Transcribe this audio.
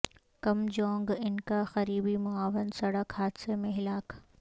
کم Jong Un کا قریبی معاون سڑک حادثہ میں ہلاک